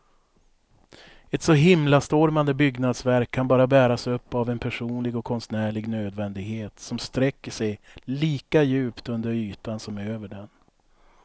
Ett så himlastormande byggnadsverk kan bara bäras upp av en personlig och konstnärlig nödvändighet som sträcker sig lika djupt under ytan som över den.